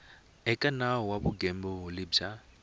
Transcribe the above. eka nawu wa vugembuli bya